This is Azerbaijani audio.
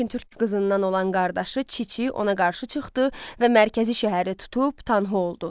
Lakin Türk qızından olan qardaşı Çiçi ona qarşı çıxdı və mərkəzi şəhəri tutub Tanhu oldu.